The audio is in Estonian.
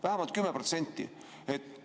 Vähemalt 10%!